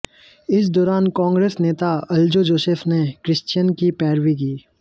इस दौरान कांग्रेस नेता अल्जो जोसेफ ने क्रिश्चियन की पैरवी की